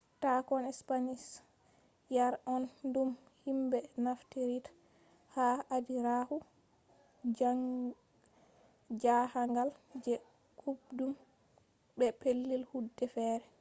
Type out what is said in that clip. tahon spanish yare on dum himbe naftiritta ha adiraaku jahangal je kuubdum be pellel kude fere